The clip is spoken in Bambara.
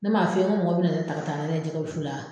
Ne m'a f'i ye ko mɔgɔ bɛ na ne ta ka taa ne ye jɛgɛ wusu la